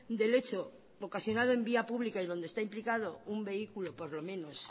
del hecho ocasionado en vía pública y donde está implicado un vehículo por lo menos